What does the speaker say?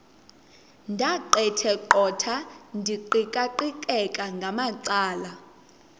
ndaqetheqotha ndiqikaqikeka ngamacala